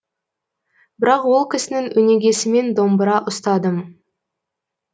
бірақ ол кісінің өнегесімен домбыра ұстадым